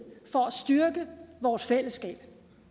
for at styrke vores fællesskab